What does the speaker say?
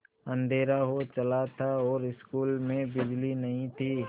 अँधेरा हो चला था और स्कूल में बिजली नहीं थी